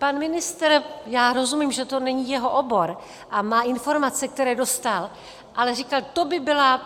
Pan ministr, já rozumím, že to není jeho obor, a má informace, které dostal, ale říkal - to by byl kolaps.